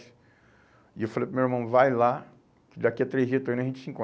E eu falei para o meu irmão, vai lá, daqui a três dias eu estou indo, a gente se encontra.